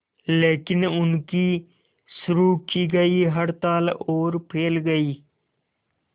लेकिन उनकी शुरू की गई हड़ताल और फैल गई